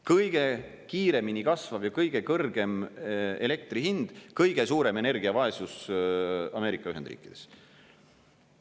Kõige kiiremini kasvav ja kõige kõrgem elektri hind, kõige suurem energiavaesus Ameerika Ühendriikides.